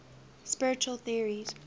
spiritual theories